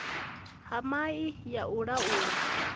ha mai ya u laula